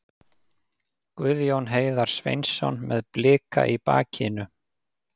Guðjón Heiðar Sveinsson með Blika í bakinu.